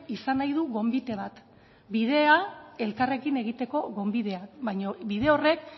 izan nahi du gonbite bat bidea elkarrekin egiteko gonbitea baino bide horrek